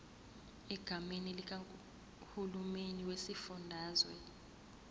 egameni likahulumeni wesifundazwe